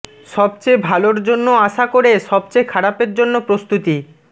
সবচেয়ে ভালোর জন্য আশা করে সবচেয়ে খারাপের জন্য প্রস্তুতি